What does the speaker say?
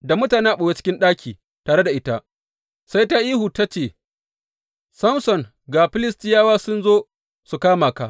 Da mutane a ɓoye a cikin ɗaki tare da ita, sai ta yi ihu ta ce, Samson ga Filistiyawa sun zo su kama ka!